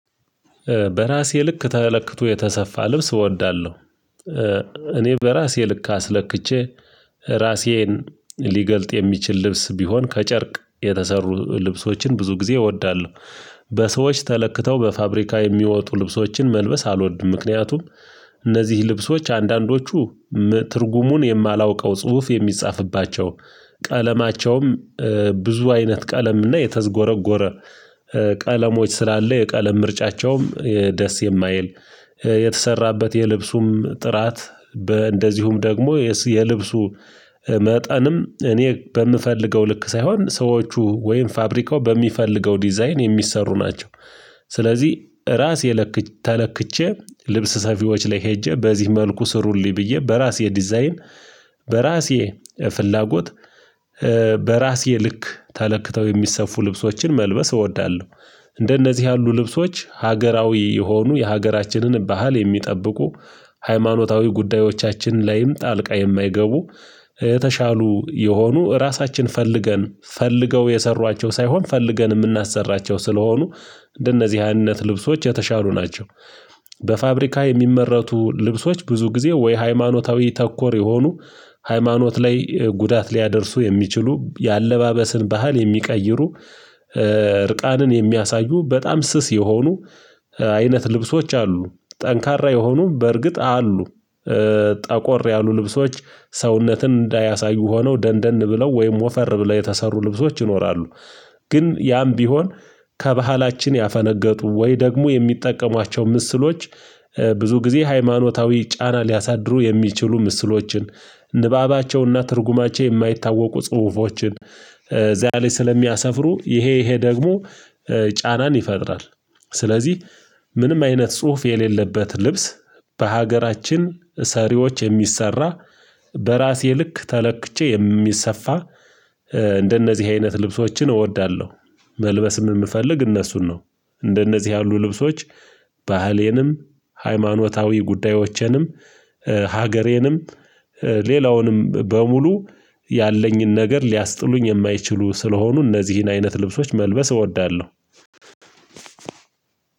በራሴ ልክ ተለክቶ የተሰፋ ልብስ እወዳለሁ። እኔ በራሴ ልክ አስለክቼ፣ ራሴን ሊገልጥ የሚችል ልብስ ቢሆን ከጨርቅ የተሰሩ ልብሶችን ብዙ ጊዜ እወዳለሁ። በሰዎች ተለክተው በፋብሪካ የሚወጡ ልብሶችን መልበስ አልወድም። ምክንያቱም፣ እነዚህ ልብሶች አንዳንዶቹ ትርጉሙን የማላውቀው ጽሁፍ የሚጻፍባቸው፣ ቀለማቸውም ብዙ አይነት ቀለም እና የተዝጎረጎረ ቀለሞች ስላለ የቀለም ምርጫቸውም ደስ የማይል የተሰራበት የልብሱም ጥራት በእንደዚሁም ደግሞ የልብሱ መጠንም፣ እኔ በምፈልገው ልክ ሳይሆን ሰዎቹ ወይም ፋብሪካው በሚፈልገው ዲዛይን የሚሰሩ ናቸው። ስለዚህ ራስ የለክ ተለክቼ ልብስ ሰፊዎች ላይ ሄጄ በዚህ መልኩ ስሩልኝ ብዬ በራሴ ዲዛይን፣ በራሴ ፍላጎት በራሴ ልክ ተለክተው የሚሰፉ ልብሶችን መልበስ እወዳለሁ። እንደነዚህ ያሉ ልብሶች ሀገራዊ የሆኑ የሀገራችንን ባህል የሚጠብቁ ሃይማኖታዊ ጉዳዮቻችን ላይም ጣልቃ የማይገቡ። የተሻሉ የሆኑ ራሳችን ፈልገን ፈልገው የሰሯቸው ሳይሆን ፈልገን የምናሰራቸው ስለሆኑ እንደነዚህ አይነት ልብሶች የተሻሉ ናቸው። በፋብሪካ የሚመረቱ ልብሶች ብዙ ጊዜ ወይ ሃይማኖታዊ ተኮር የሆኑ ሃይማኖት ላይ ጉዳት ሊያደርሱ የሚችሉ የአለባበስን ባህል የሚቀይሩ እርቃንን የሚያሳዩ በጣም ስስ የሆኑ አይነት ልብሶች አሉ፣ ጠንካራ የሆኑ በእርግጥ አሉ ጠቆር ያሉ ልብሶች ሰውነትን እንዳያሳዩ ሆነው፣ ደንደን ብለው ወይም ወፈር ብለው የተሰሩ ልብሶች ይኖራሉ፣ ግን ያም ቢሆን ከባህላችን ያፈነገጡ ወይ ደግሞ የሚጠቀሟቸው ምስሎች ብዙ ጊዜ ሃይማኖታዊ ጫና ሊያሳድሩ የሚችሉ ምስሎችን ንባባቸውና ትርጉማቸው የማይታወቁ ጽሁፎችን፣ እዚያ ላይ ስለሚያሰፍሩ ይሄ ይሄ ደግሞ ጫናን ይፈጥራል ስለዚህ ምንም አይነት ጽሁፍ የሌለበት ልብስ በሀገራችን ሰሪዎች የሚሰራ በራሴ ልክ ተለክቼ የሚሰፋ እንደነዚህ አይነት ልብሶችን እወዳለሁ። መልበስም የምፈልግ እነሱን ነው እንደነዚህ ያሉ ልብሶች ባህሌንም ሃይማኖታዊ ጉዳዮችንም ሀገሬንም ሌላውንም በሙሉ ያለኝን ነገር ሊያስጥሉኝ የማይችሉ ስለሆኑ እነዚህን አይነት ልብሶች መልበስ እወዳለሁ።